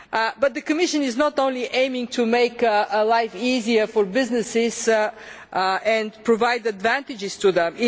But the Commission is not only aiming to make life easier for businesses and provide advantages to them.